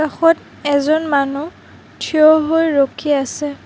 কাষত এজন মানু্হ থিয় হৈ ৰখি আছে।